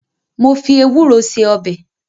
Mo fi ewúro ṣe ọbẹ̀